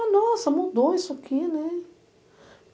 Ah, nossa, mudou isso aqui, né?